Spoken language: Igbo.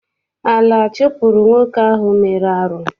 Ala chụpụrụ nwoke ahụ mere arụ.